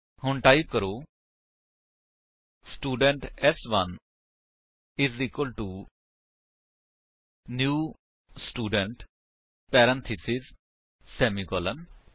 ਹੁਣ ਟਾਈਪ ਕਰੋ ਸਟੂਡੈਂਟ ਸ1 is equal to new student parenthesis semicolon